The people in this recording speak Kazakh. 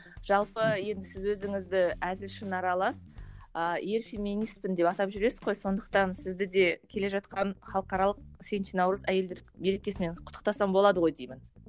жалпы енді сіз өзіңізді әзіл шыны аралас ыыы ер феминистпін деп атап жүресіз ғой сондықтан сізді де келе жатқан халықаралық сегізінші наурыз әйелдер мерекесімен құттықтасам болады ғой деймін